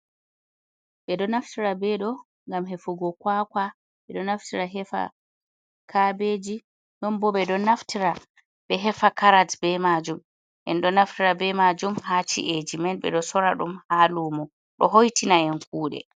Bédo naftira bé dó gam hefugo kwakwa, bédo naftira hefa kabeji, dón bó bédo naftira bé hefa karat bé majum en do naftira be majum ha chi’eji mén bé dó sora dum ha lumo dó hoitina en kude.